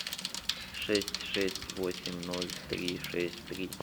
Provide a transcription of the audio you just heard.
шесть шесть восемь ноль три шесть три